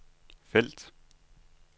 felt